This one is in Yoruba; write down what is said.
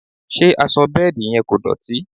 Ṣé aṣọ bẹ́ẹ̀dì yẹn kò dọ̀tí?